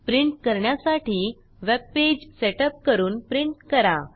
print करण्यासाठी webpage setup करून print करा